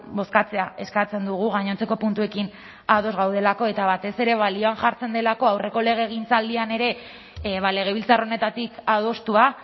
bozkatzea eskatzen dugu gainontzeko puntuekin ados gaudelako eta batez ere balioan jartzen delako aurreko legegintzaldian ere legebiltzar honetatik adostua